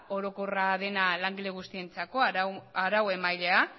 orokorra dena langile guztientzako arauemailea